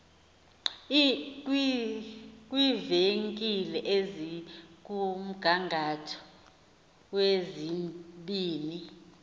kwiivenkile ezikumgangatho wezibini